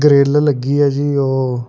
ਕਿੱਲ ਲੱਗੀ ਹੈ ਜੀ ਉਹ --